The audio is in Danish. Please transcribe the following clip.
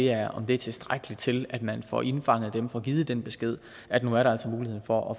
er er tilstrækkeligt til at man får indfanget dem og får givet den besked at nu er der altså mulighed for at